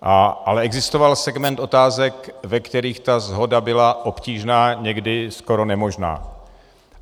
Ale existoval segment otázek, ve kterých ta shoda byla obtížná, někdy skoro nemožná.